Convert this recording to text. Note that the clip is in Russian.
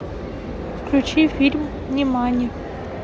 включи фильм нимани